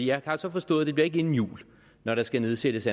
jeg har så forstået at det bliver ikke inden jul når der skal nedsættes